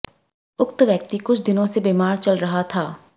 उक्त व्यक्ति कुछ दिनों से बीमार चल रहा था